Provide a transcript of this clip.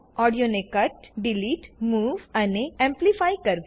ઓડિયોને cut delete move અને amplify કરવું